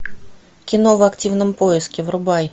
кино в активном поиске врубай